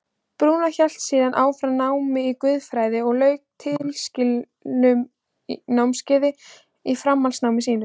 Brúnó hélt síðan áfram námi í guðfræði og lauk tilskildum námskeiðum í framhaldsnámi sínu.